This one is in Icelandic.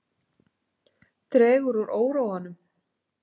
Dregur úr óróanum